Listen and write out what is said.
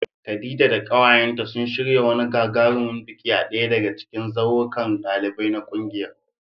Khadija da kawayenta sun shirya wani gagarumin biki a daya daga cikin zaurukan ɗalibai na kungiyar.